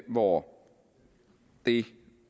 hvor det